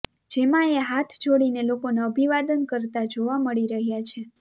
જેમાં એ હાથ જોડીને લોકોને અભિવાદન કરતાં જોવા મળી રહ્યા છે